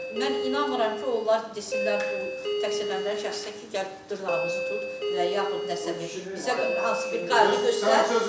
Mən inanmıram ki, onlar desinlər bu təqsirləndirilən şəxsə ki, gəl dırnağımızı tut və yaxud nəsə bir hansısa bir qayğı göstər.